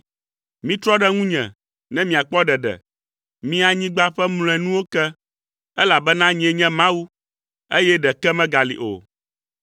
“Mitrɔ ɖe ŋunye ne miakpɔ ɖeɖe, mi anyigba ƒe mlɔenuwo ke, elabena nyee nye Mawu, eye ɖeke megali o.